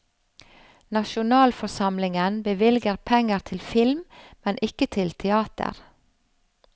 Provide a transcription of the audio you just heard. Nasjonalforsamlingen bevilger penger til film, men ikke til teater.